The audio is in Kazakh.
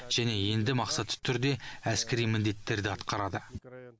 және енді мақсатты түрде әскери міндеттерді атқарады